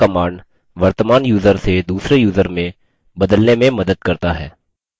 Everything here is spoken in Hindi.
यह command वर्तमान यूज़र से दूसरे यूज़र में बदलने में मदद करता है